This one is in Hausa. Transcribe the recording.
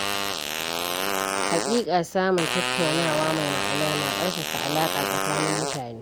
Haƙiƙa samun tattaunawa mai ma’ana na ƙarfafa alaƙa tsakanin mutane.